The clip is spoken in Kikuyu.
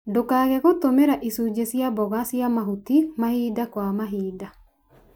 Ndũkage gũtũmĩra icunjĩ cia mboga cia mahuti mahinda kwa mahinda.